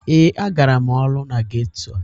Ee, agara m ọrụ na geto.